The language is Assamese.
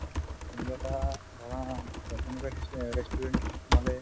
কোনোবা এটা ধৰা সেনেকুৱা restaurant restaurant ত যদি সোমালে